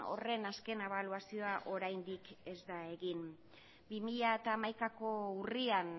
horren azken ebaluazioa oraindik ez da egin bi mila hamaikako urrian